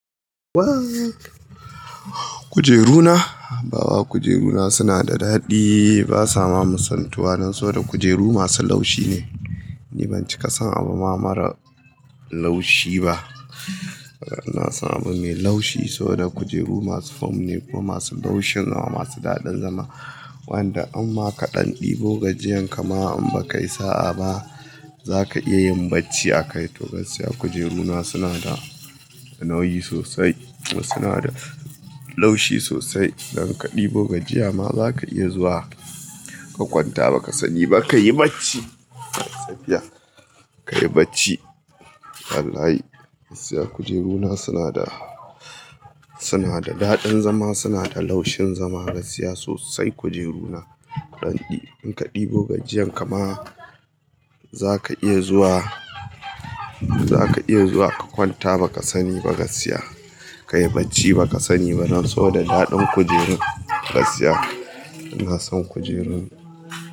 Waa! Kujeru na, baba kujeru na suna da daɗi, ba sa ma musantuwa dan so da kujeru masu laushi ne. Ni ban cika son abu ma mara laushi ba. Ina son abu mai laushi, soboda kujeru masu fom ne kuma masu laushin zama, masu daɗin zama. Wanda imma kaɗan ɗibo gajiyan kama in ba ka yi sa'a ba, za ka iya yin bacci a kai to gaskiya kujeru na suna da nauyi sosai. Wasu na da laushi sosai, idan ka ɗibo gajiyan ma za ka iya zuwa ka kwanta ba ka sani ba ka yi bacci. Gaskiya, ka yi bacci wallahi. Siya kujeru na suna da, suna da daɗin zama, suna da laushin zama gaskiya sosai kujeru na. Kaɗan ɗi, in ka ɗibo gajiyan kama za ka iya zuwa, za ka iya zuwa ka kwanta ba ka sani ba gaskiya, ka yi bacci ba ka sani dan soboda daɗin kujerun gaskiya. Ina son kujeru na.